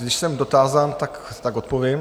Když jsem dotázán, tak odpovím.